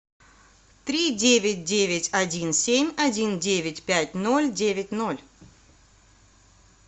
три девять девять один семь один девять пять ноль девять ноль